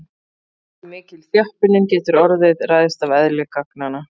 Hversu mikil þjöppunin getur orðið ræðst af eðli gagnanna.